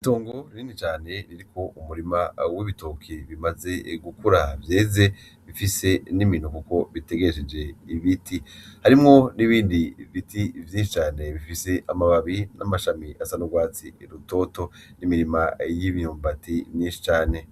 Itongo rinini cane ririko umurima w'ibitoki bimaze gukura vyeze, bifise n'imino kuko bitegesheje ibiti, harimwo n'ibindi biti vyinshi cane bifise amababi n'amashami asa n'ugwatsi rutoto, n'imirima y'imyumbati myinshi cane.